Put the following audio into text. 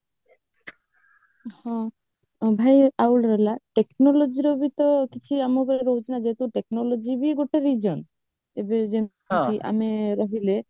ହଁ ଉଭୟ technologyର ବି ତ କିଛି ଆମର ରହୁଛିନା ଯେହେତୁ technology ବି ଗୋଟେ reason ଆମେ ରହିଲେ